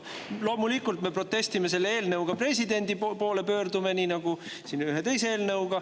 Loomulikult me protestime ja pöördume selle eelnõu asjus presidendi poole nii nagu siin ühe teise eelnõu puhul.